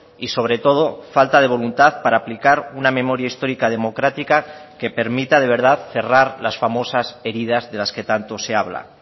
y sobre todo falta de voluntad para aplicar una memoria histórica democrática que permita de verdad cerrar las famosas heridas de las que tanto se habla